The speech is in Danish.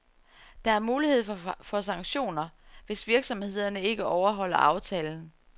Der er mulighed for sanktioner, hvis virksomhederne ikke overholder aftalen.